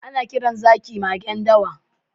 Ana kiran zaki magen dawa.